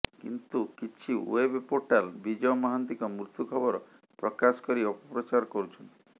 କିନ୍ତୁ କିଛି web portal Bijay ମହାନ୍ତିଙ୍କ ମୃତ୍ୟୁ ଖବର ପ୍ରକାଶ କରି ଅପପ୍ରଚାର କରୁଛନ୍ତି